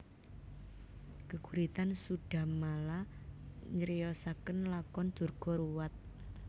Geguritan Sudhamala nyriosaken lakon Durga ruwat